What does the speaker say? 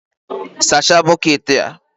Sachaa bukeeti a!